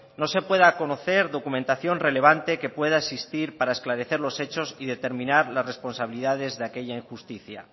no se pueda conocer documentación relevante que pueda existir para esclarecer los hechos y determinar las responsabilidades de aquella injusticia